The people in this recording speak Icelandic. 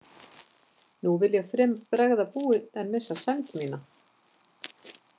Nú vil ég fremur bregða búi en missa sæmd mína.